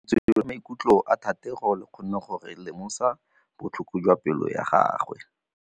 Lentswe la maikutlo a Thategô le kgonne gore re lemosa botlhoko jwa pelô ya gagwe.